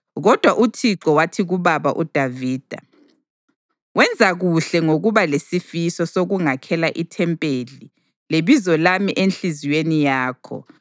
Kodwa uThixo wathi kubaba uDavida, ‘Wenza kuhle ngokuba lesifiso sokungakhela ithempeli leBizo lami enhliziyweni yakho.